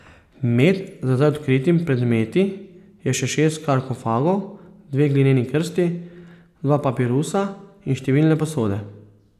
Med za zdaj odkritimi predmeti je še šest sarkofagov, dve glineni krsti, dva papirusa in številne posode.